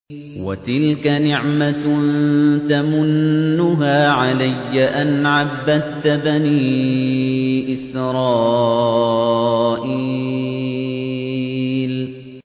وَتِلْكَ نِعْمَةٌ تَمُنُّهَا عَلَيَّ أَنْ عَبَّدتَّ بَنِي إِسْرَائِيلَ